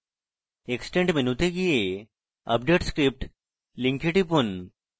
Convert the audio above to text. extend মেনুতে go update script link টিপুন